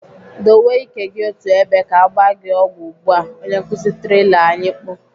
"Dowe ike gị otú ebe ka agba gị ọgwụ ugbu a!" Onye nkuzi tirila anyị mkpu.